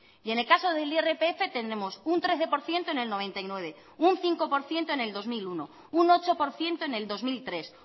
y en el caso del irpf tenemos un trece por ciento en el noventa y nueve un cinco por ciento en el dos mil uno un ocho por ciento en el dos mil tres